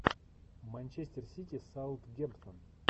манчестер сити саутгемптон